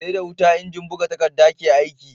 SE da huta injin buga takadda ke aiki